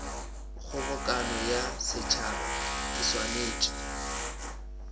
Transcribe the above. kgobokano ya setšhaba e swanetše